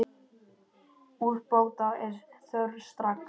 Úrbóta er þörf strax.